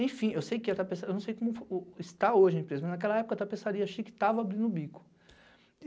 Enfim, eu não sei como está hoje a empresa, mas naquela época a tapeçaria chique estava abrindo o bico.